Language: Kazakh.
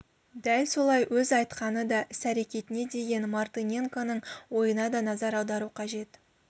дәл солай өз айтқаны да іс-әрекетіне деген мартыненконың ойына да назар аудару қажет